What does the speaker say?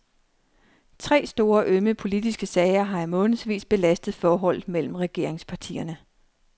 Tre store ømme politiske sager har i månedsvis belastet forholdet mellem regeringspartierne.